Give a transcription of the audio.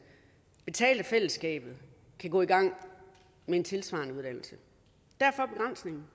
betalt af fællesskabet kan gå i gang med en tilsvarende uddannelse derfor begrænsningen